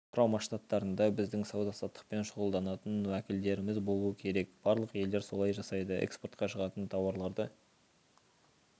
құрама штаттарында біздің сауда-саттықпен шұғылданатын уәкілдеріміз болуы керек барлық елдер солай жасайды экспортқа шығатын тауарларды